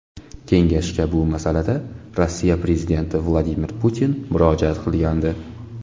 Kengashga bu masalada Rossiya prezidenti Vladimir Putin murojaat qilgandi.